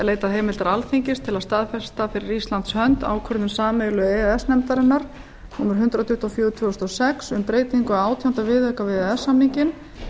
leitað heimildar alþingis til að staðfesta fyrir íslands hönd ákvörðun sameiginlegu e e s nefndarinnar númer hundrað tuttugu og fjögur tvö þúsund og sex um breytingu á átjánda viðauka við e e s samninginn